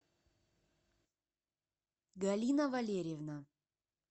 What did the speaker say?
галина валерьевна